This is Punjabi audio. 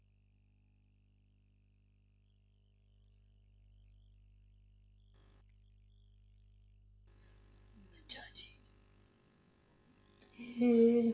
ਇਹ,